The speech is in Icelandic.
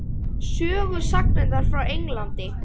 Sögusagnirnar frá Englandi?